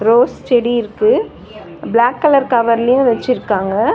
Rose செடி இருக்கு black colour கவர்லியு வச்சுருக்காங்க.